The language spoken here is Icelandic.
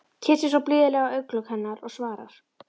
Kyssir svo blíðlega á augnalok hennar og svarar: